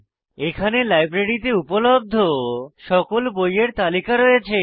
এখানে লাইব্রেরীতে উপলব্ধ সকল বইয়ের তালিকা রয়েছে